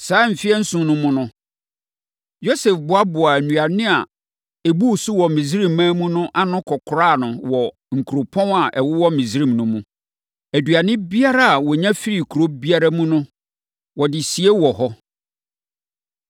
Saa mfeɛ nson no mu no, Yosef boaboaa nnuane a ɛbuu so wɔ Misraiman mu no ano kɔkoraa no wɔ nkuropɔn a ɛwowɔ Misraim no mu. Aduane biara a wɔnya firii kuro biara mu no bi no, wɔde sie wɔ hɔ.